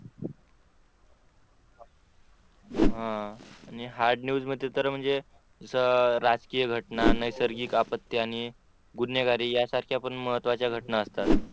Hard news मध्ये तर म्हणजे जसं राजकीय घटना नैसर्गिक आपत्या आणि गुन्हेगारी यासारख्या पण महत्त्वाच्या घटना असतात.